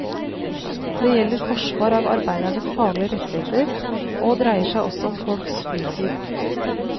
Det gjelder forsvar av arbeidernes faglige rettigheter, og dreier seg også om folks fritid.